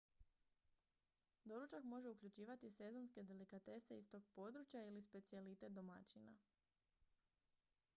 doručak može uključivati sezonske delikatese iz tog područja ili specijalitet domaćina